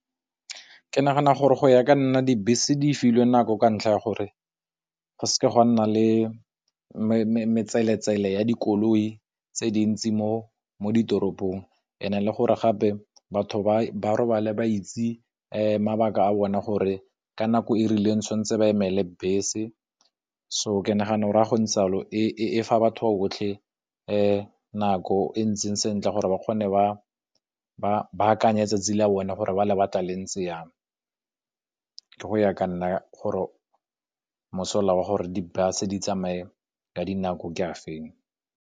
Ke nagana gore go ya ka nna dibese di filwe nako ka ntlha ya gore, go seke ga nna le metseletsele ya dikoloi tse dintsi mo ditoropong and e le gore gape batho ba robala ba itse mabaka a bona gore ka nako e rileng santse ba emele bese so ke nagana gore ga go ntse yalo e fa batho botlhe nako e ntseng sentle gore ba kgone ba akanye tsatsi la bone gore ba lebaka le ntse yang ke go ya ka nna gore mosola wa gore di bus ditsamaye ka dinako ke a feng.